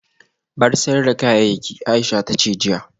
Bar sayar da kayayyaki Aisha tace jiya